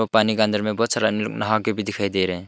वो पानी का अंदर में बहुत सारा लोग नहा के भी दिखाई दे रहे हैं।